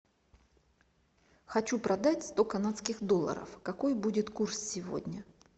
хочу продать сто канадских долларов какой будет курс сегодня